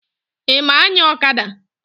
Ị ma anya ọkada?